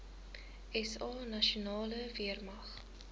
sa nasionale weermag